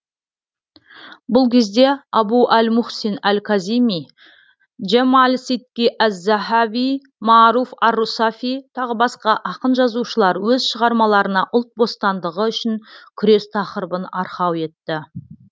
бұл кезде абу әл мухсин әл казими жемәл сидки әз захави мааруф ар русафи тағы басқа ақын жазушылар өз шығармаларына ұлт бостандығы үшін күрес тақырыбын арқау етті